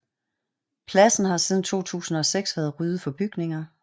Pladsen har siden 2006 været ryddet for bygninger